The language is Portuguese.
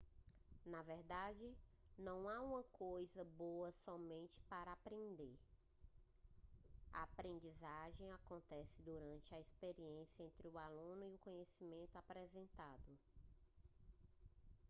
na verdade não há uma coisa boa somente para aprender a aprendizagem acontece durante a experiência entre o aluno e o conhecimento apresentado